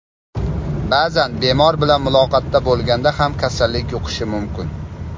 Ba’zan bemor bilan muloqotda bo‘lganda ham kasallik yuqishi mumkin.